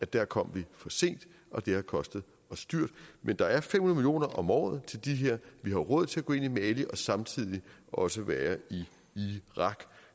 der kom vi for sent og det har kostet os dyrt men der er fem hundrede om året til det her vi har råd til at gå ind i mali og samtidig også være i irak